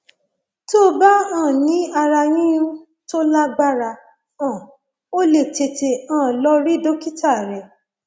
tó bá um ní ara yíyún tó lágbára um o lè tètè um lọ rí dókítà rẹ